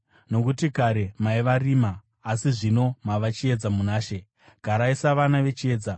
Nokuti kare maiva rima, asi zvino mava chiedza muna She. Garai savana vechiedza